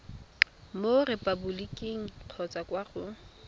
mo repaboliking kgotsa kwa go